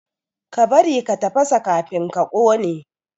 Ka bari ka tafasa kafin ka kone!